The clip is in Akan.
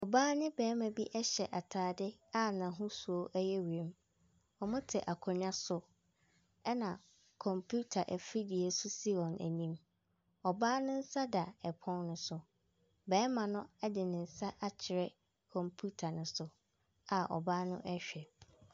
Ɔbaa ne bɛrima bi ɛhyɛ ataade a n'ahosuo ɛyɛ wiem. Ɔmo te akonwa so. Ɛna kɔmpuita afidie bi nso si wɔn anim. Ɔbaa no nsa da ɛpon no so. Bɛrima no ɛde ne nsa akyerɛ kɔmpiuta no so a ɔbaa no ɛhwɛ.